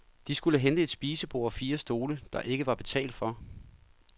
De skulle hente et spisebord og fire stole, der ikke var betalt for.